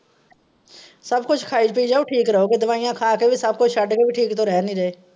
ਸਬ ਕੁਛ ਖਾਇ ਪੀ ਜਾਓ ਠੀਕ ਰਹੋਗੇ, ਦਵਾਈਆਂ ਖਾ ਕੇ ਵੀ ਸਬ ਕੁਛ ਸ਼ੱਡ ਕੇ ਵੀ ਠੀਕ ਤੋ ਰਹਿ ਨੀ ਰਹੇ।